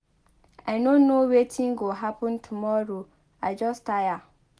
I no know wetin go happen tomorrow. I just tire.